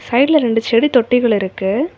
சைடுல ரெண்டு செடி தொட்டிகள் இருக்கு.